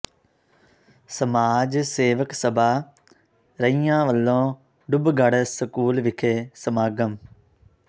ਸਮਾਜ ਸੇਵਕ ਸਭਾ ਰਈਆ ਵੱਲੋਂ ਡੁੱਬਗੜ੍ਹ ਸਕੂਲ ਵਿਖੇ ਸਮਾਗਮ